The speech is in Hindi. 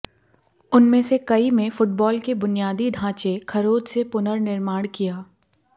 उनमें से कई में फुटबॉल के बुनियादी ढांचे खरोंच से पुनर्निर्माण किया